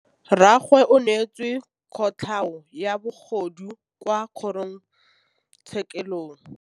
Rragwe o neetswe kotlhaô ya bogodu kwa kgoro tshêkêlông.